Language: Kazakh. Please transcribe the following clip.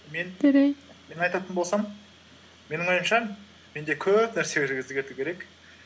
мен жарайды мен айтатын болсам менің ойымша менде көп нәрселер өзгерту керек